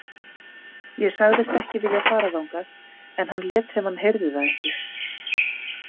Ég sagðist ekki vilja fara þangað en hann lét sem hann heyrði það ekki.